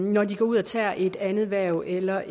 når de går ud og tager et andet hverv eller